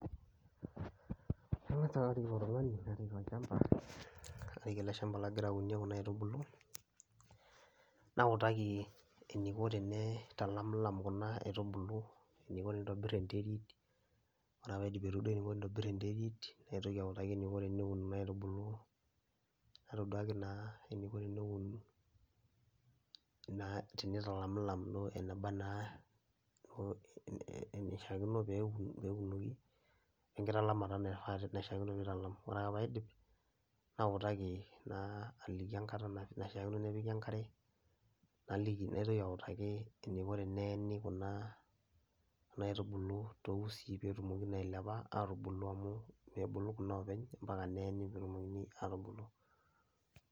Kang'as ake arik ilo tung'ani narik olchamba, karik ele shamba lagira aunie kuna aitubulu nautaki eniko tenee italamilam kuna aitubulu, eniko tenintobir enterit. Ore ake paaidip aitoduaki eniko tenitobir enterit, naitoki autaki eniko teneun kuna aitubulu, naitoduaki naa eniko teneun naa tenitalamlam duo eneba naa oo enishaakino peeun peunoki we nkitalamata naifaa naishaakino piitalam. Ore ake paidip, nautaki naa aliki enkata na naishaakino nepiki enkare, naliki naitoki autaki eniko teneeni kuna kuna aitubulu to usii peetumoki naa ailepa atubulu amu mebulu kuna oopeny mpaka neeni peetumokini aatubulu.